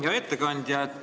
Hea ettekandja!